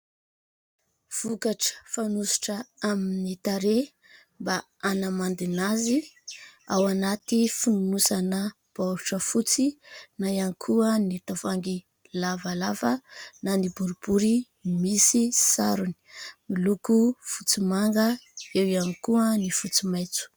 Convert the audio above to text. Vokatra fanosotra amin'ny tarehy mba hanamandina azy ao anaty fonosana baoritra fotsy na ihany koa ny tavoahangy lavalava na ny boribory misy sarony, miloko fotsy manga, eo ihany koa ny fotsy maitso.